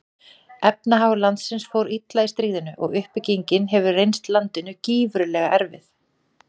Efnahagur landsins fór illa í stríðinu og uppbyggingin hefur reynst landinu gífurlega erfið.